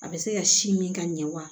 A bɛ se ka sin min ka ɲɛ wa